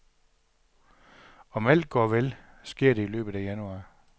Om alt går vel, sker det i løbet af januar.